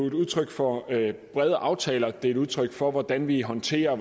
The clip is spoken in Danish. et udtryk for at det brede aftaler og at det er et udtryk for hvordan vi håndterer